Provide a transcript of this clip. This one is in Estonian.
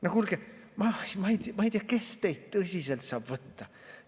No kuulge, ma ei tea, kes teid tõsiselt saab võtta.